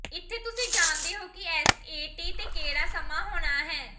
ਇੱਥੇ ਤੁਸੀਂ ਜਾਣਦੇ ਹੋ ਕਿ ਐਸਏਟੀ ਤੇ ਕਿਹੜਾ ਸਮਾਂ ਹੋਣਾ ਹੈ